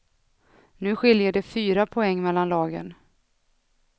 Nu skiljer det fyra poäng mellan lagen.